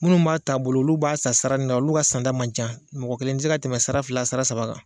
Minnu b'a taabolo olu b'a san saranin na olu ka sanda man ca mɔgɔ kelen tɛ se ka tɛmɛ sara fila sara saba kan